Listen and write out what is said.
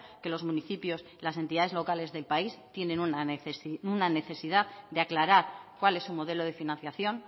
que los municipios las entidades locales del país tienen una necesidad de aclarar cuál es su modelo de financiación